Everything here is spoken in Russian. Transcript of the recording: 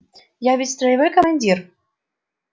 я ведь строевой командир